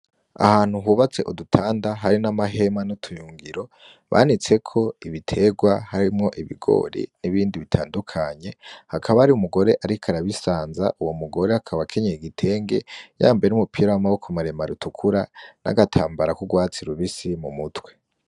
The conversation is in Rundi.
Ahantu hubatse udutanda hari n'amahema n'utuyungiro banitseko ibitegwa, harimwo ibigori n'ibindi bitandukanye hakaba hari umugore ariko arabisanza uwo mugore akaba akenyeye igitenge yambaye n'umupira w'amaboko maremare utukura n'agatambara k'ugwatsi rubusi mu mutwe.